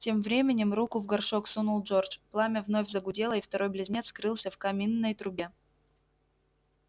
тем временем руку в горшок сунул джордж пламя вновь загудело и второй близнец скрылся в каминной трубе